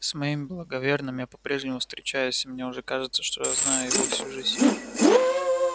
с моим благоверным я по-прежнему встречаюсь и мне уже кажется что знаю его всю жизнь